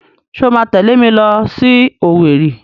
Ṣé o máa tẹ̀lé mi lọ sí Owerri?